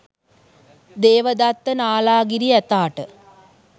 Devadatta Nalagiri ඇතාට